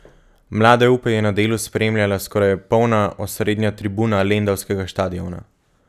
Mlade upe je na delu spremljala skoraj polna osrednja tribuna lendavskega štadiona.